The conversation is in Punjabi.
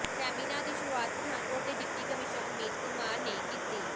ਸੈਮੀਨਾਰ ਦੀ ਸ਼ੁਰੂਆਤ ਪਠਾਨਕੋਟ ਦੇ ਡਿਪਟੀ ਕਮਿਸ਼ਨਰ ਅਮਿਤ ਕੁਮਾਰ ਨੇ ਕੀਤੀ